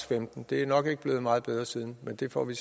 femten det er nok ikke blevet meget bedre siden men det får vi